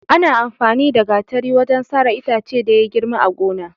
Ana amfani da Gatari wajen sare itace da ya girma a gona.